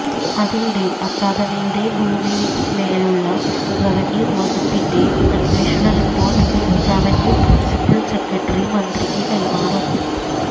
അതിനിടെ അക്കാദമിയുടെ ഭൂമിയിന്മേലുള്ള റവന്യൂ വകുപ്പിന്റെ അന്വേഷണ റിപ്പോര്ട്ട് റവന്യൂ പ്രിന്സിപ്പല് സെക്രട്ടറി മന്ത്രിക്ക് കൈമാറും